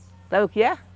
Sabe o que é?